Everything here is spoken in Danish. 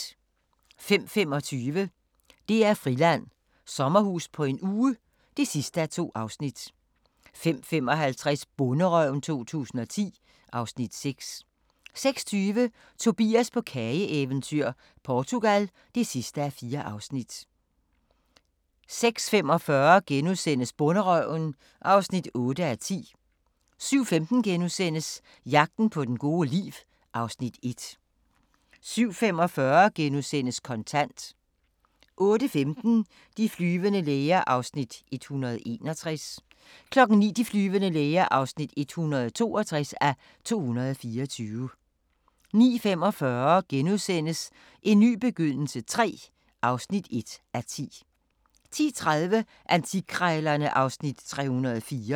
05:25: DR-Friland: Sommerhus på en uge (2:2) 05:55: Bonderøven 2010 (Afs. 6) 06:20: Tobias på kageeventyr - Portugal (4:4) 06:45: Bonderøven (8:10)* 07:15: Jagten på det gode liv (Afs. 1)* 07:45: Kontant * 08:15: De flyvende læger (161:224) 09:00: De flyvende læger (162:224) 09:45: En ny begyndelse III (1:10)* 10:30: Antikkrejlerne (Afs. 304)